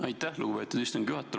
Aitäh, lugupeetud istungi juhataja!